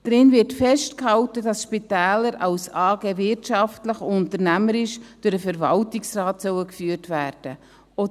Darin wird festgehalten, dass Spitäler als AG wirtschaftlich, unternehmerisch durch den Verwaltungsrat geführt werden sollen.